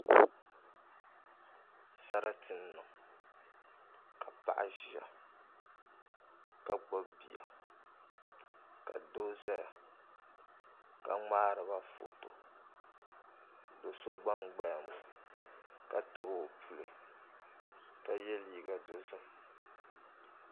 Sarati n niŋ ka paɣa ʒiya ka gbubi bia ka doo ʒɛya ka ŋmaariba foto do so gba n gbaya ŋo ka tabi puli ka yɛ liiga dozim